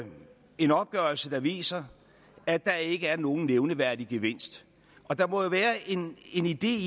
en opgørelse der viser at der ikke er nogen nævneværdig gevinst og der må jo være en idé